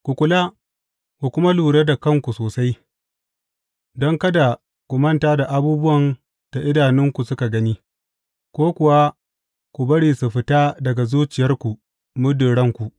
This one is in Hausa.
Ku kula, ku kuma lura da kanku sosai, don kada ku manta da abubuwan da idanunku suka gani, ko kuwa ku bari su fita daga zuciyarku muddin ranku.